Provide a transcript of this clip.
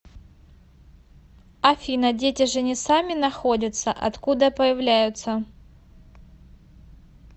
афина дети же не сами находятся откуда появляются